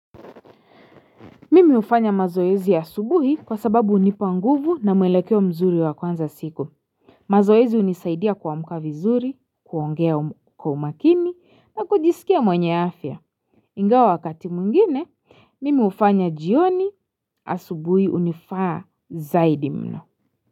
Mimi hufanya mazoezi asubuhi kwa sababu hunipa nguvu na mwelekeo mzuri wa kuanza siku. Mazoezi hunisaidia kuamka vizuri, kuongea kwa umakini na kujisikia mwenye afya. Ingawa wakati mwingine, mimi hufanya jioni, asubuhi hunifaa zaidi mno.